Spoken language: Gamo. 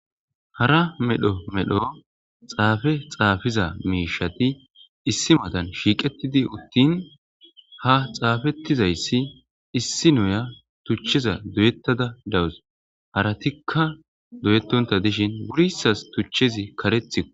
hara medho medho xaafe xaafiza miishati issi matan shiiqetidi uttin ha xaafettizayssi issi noya tuchcheza doyettada dawus haratikka doyettonta dishin wurissas tuchchezi karethi